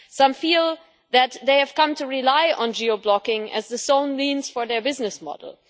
Some feel that they have come to rely on geo blocking as the sole means for their business model.